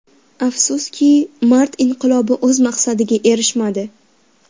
Afsuski, mart inqilobi o‘z maqsadiga erishmadi.